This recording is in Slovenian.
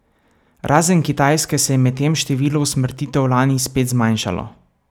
Razen Kitajske se je medtem število usmrtitev lani spet zmanjšalo.